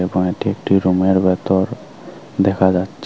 এবং এটি একটি রুমের ভিতর দেখা যাচ্ছে।